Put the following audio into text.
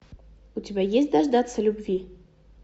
у тебя есть дождаться любви